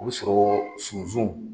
U bɛ' sɔrɔ sunsub